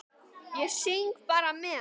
Ég syng bara með.